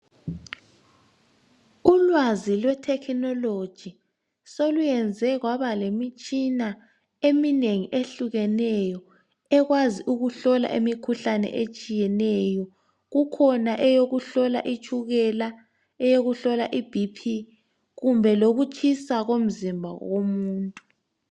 Ulwazi lwethekhinoloji soluyenze kwaba lemitshina eminengi ehlukeneyo ekwazi ukuhlola imikhuhlane etshiyeneyo. Kukhona eyokuhlola itshukela, eyokuhlola iBP kumbe lokutshisa komzimba womuntu.